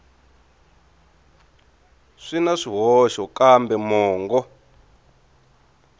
swi na swihoxo kambe mongo